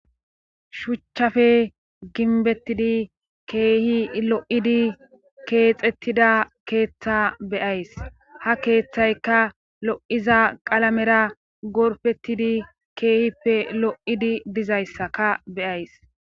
Shuchchafe ginbettidi keehi lo7idi keexettida keeththa beyays ha keeththayka lo7iza qalamera gorfettidi keehippe lo7idi dizayssaka beyays